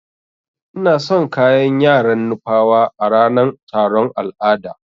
Ina son kayan yaran nupawa a ranan taron al'ada.